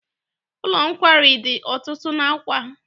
Ụlọ nkwari dị ọtụtụ n'Awka.